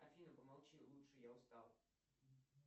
афина помолчи лучше я устал